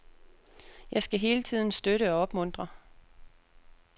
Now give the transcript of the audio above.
Jeg skal hele tiden støtte og opmuntre.